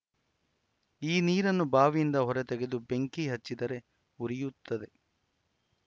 ಈ ನೀರನ್ನು ಬಾವಿಯಿಂದ ಹೊರ ತೆಗೆದು ಬೆಂಕಿ ಹಚ್ಚಿದರೆ ಉರಿಯುತ್ತಿದೆ